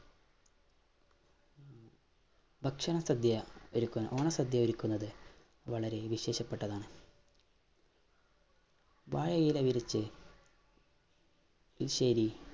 ഭക്ഷണ സദ്യ ഒരുക്കുന്ന ഓണ സദ്യ ഒരുക്കുന്നത് വളരെ വിശേഷപ്പെട്ടതാണ് വാഴയില വിരിച്ച് എരിശ്ശേരി